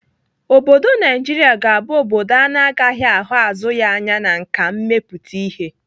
Obodo Naijiria ga-abụ obodo ana agaghị ahụ azụ ya anya na nkà mmepụta ihe